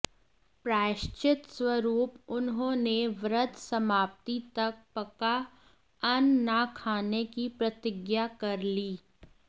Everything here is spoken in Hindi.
प्रायश्चित स्वरूप उन्होंने व्रत समाप्ति तक पका अन्न न खाने की प्रतिज्ञा कर ली